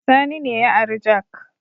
Sani ne ya ari jak